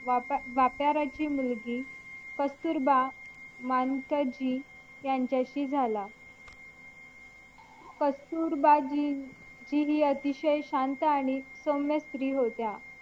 व्यापार्याची मुलगी कस्तुरबा मंनकथजी ह्यांच्याशी झाला कस्तुरबाजी हि अतिशय शांत आणि सौम्य स्त्री होती